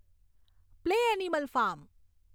play animal farm